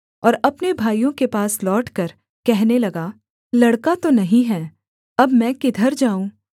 और अपने भाइयों के पास लौटकर कहने लगा लड़का तो नहीं है अब मैं किधर जाऊँ